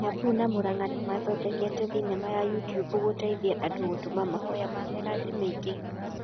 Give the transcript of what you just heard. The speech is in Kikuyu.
Kiambu na Murang'a nĩmathondekete thinema ya youtube gũteithia andũ gũtũma mahoya ma mĩradi mĩĩngi